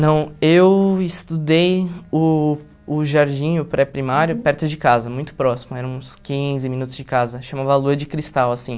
Não, eu estudei o o jardim, o pré-primário, perto de casa, muito próximo, eram uns quinze minutos de casa, chamava Lua de Cristal, assim.